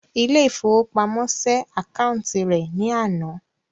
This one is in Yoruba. Ilé ifówópamọ́ sé àkáúntì rẹ̀ ní àná